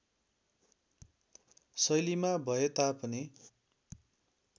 शैलीमा भए तापनि